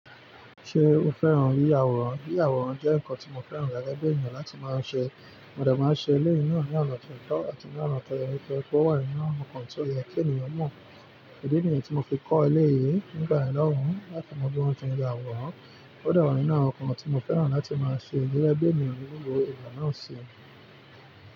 Ṣé o fẹ́ràn yíyàwòrán? Yíyàwòrán jẹ́ nǹkan tí mo fẹ́ràn lágbèẹ́ ènìyàn láti máa ṣe. Mo de máa ṣe eleyii náà ní ọ̀nà ti o tọ̀ àti ní ọ̀nà tó yẹ pé ó wà nínú nkàn tí ó yẹ kí ènìyàn mọ̀. Idì niyii tí mo fi kọ́ eléyìí nígbàyen lohun láti mọ bí wọ́n ti ń ya àwòrán. Ó de wa nínú awon nkàn tí mo fẹ́ràn láti máa ṣe gege bii ènìyàn ní gbogbo ìgbà náà ṣe.